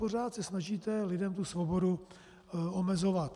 Pořád se snažíte lidem tu svobodu omezovat.